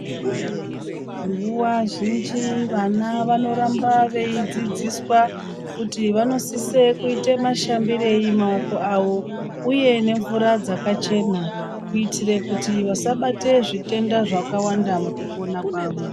Nguwa zhinji vana vanoramba veidzidziswa kuti vanosise kuite mashambirei maoko avo uye nemvura dzakachena kuitire kuti vasabate zvitenda zvakawanda mukupona kwavo.